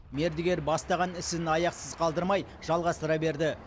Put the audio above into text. мердігер бастаған ісін аяқсыз қалдырмай жалғастыра берді